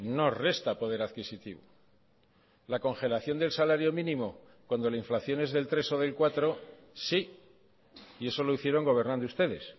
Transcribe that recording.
no resta poder adquisitivo la congelación del salario mínimo cuando la inflación es del tres o del cuatro sí y eso lo hicieron gobernando ustedes